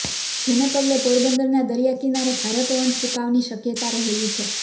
જેને પગલે પોરબંદરના દરિયા કીનારે ભારે પવન ફુકાવની શક્યતા રહેલી છે